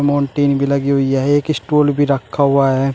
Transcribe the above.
Martin भी लगी हुई है एक स्टूल भी रखा हुआ है।